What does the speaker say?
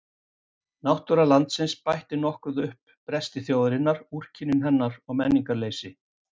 Náttúra landsins bætti nokkuð upp bresti þjóðarinnar, úrkynjun hennar og menningarleysi.